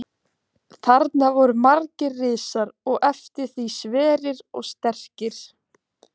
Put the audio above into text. Þarna voru margir risar og eftir því sverir og sterkir.